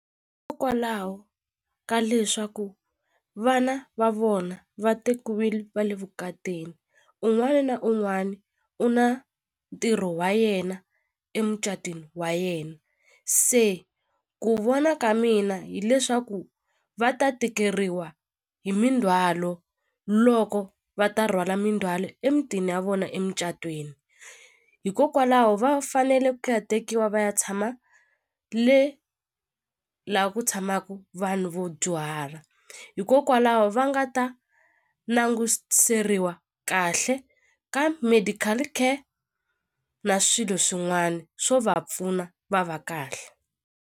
ka leswaku vana va vona va tekiwile va le vukatini un'wana na un'wana u na ntirho wa yena emucatwini wa yena se ku vona ka mina hileswaku va ta tikeriwa hi mindzhwalo loko va ta rhwala mindzwalo emitini ya vona emucatweni hikokwalaho va fanele ku ya tekiwa va ya tshama le la ku tshamaku vanhu vo dyuhala hikokwalaho va nga ta languseriwa kahle ka medical care na swilo swin'wana swo va pfuna va va kahle.